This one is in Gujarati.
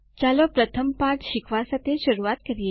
ચાલો પ્રથમ પાઠ શીખવા સાથે શરૂઆત કરીએ